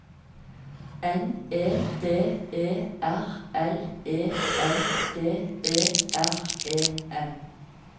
N E D E R L E N D E R E N